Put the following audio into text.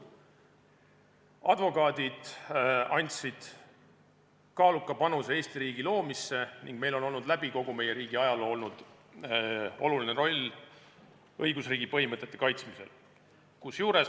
Advokaadid andsid kaaluka panuse Eesti riigi loomisse ning meil on olnud läbi kogu meie riigi ajaloo tähtis roll õigusriigi põhimõtete kaitsmisel.